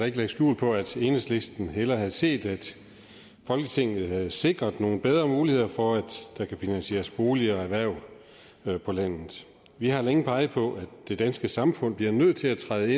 ikke lægge skjul på at enhedslisten hellere havde set at folketinget havde sikret nogle bedre muligheder for at der kan finansieres boliger og erhverv på landet vi har længe peget på at det danske samfund bliver nødt til at træde